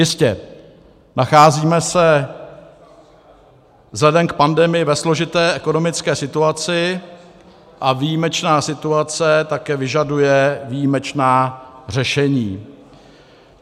Jistě, nacházíme se vzhledem k pandemii ve složité ekonomické situaci a výjimečná situace také vyžaduje výjimečná řešení.